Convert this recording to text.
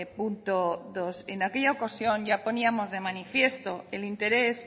punto dos en aquella ocasión ya poníamos de manifiesto el interés